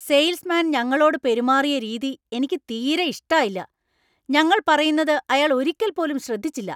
Sales മാൻ ഞങ്ങളോട് പെരുമാറിയ രീതി എനിക്ക് തീരെ ഇഷ്ടായില്ല, ഞങ്ങൾ പറയുന്നത് അയാൾ ഒരിക്കൽ പോലും ശ്രദ്ധിച്ചില്ല.